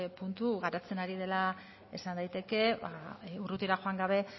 puntu garatzen ari dela esan daiteke ba urrutira joan gabe